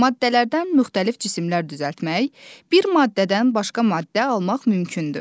Maddələrdən müxtəlif cisimlər düzəltmək, bir maddədən başqa maddə almaq mümkündür.